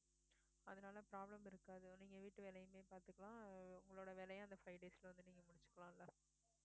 அதுனால problem இருக்காது நீங்க வீட்டுவேலையுமே பாத்துக்கலாம் உங்களோட வேலையும் அந்த five days ல வந்து முடுச்சுக்கலாம்ல